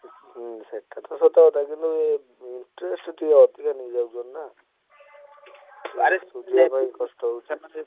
ହୁଁ ସେଇଟା ତ ସତ କଥା କିନ୍ତୁ interest ଟିକେ ଅଧିକା ନେଇଯାଉଛନ୍ତି ନା।